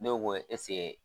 Ne